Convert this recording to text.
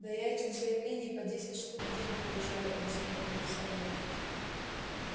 да я этих заявлений по десять штук в день получаю объясняет милиционер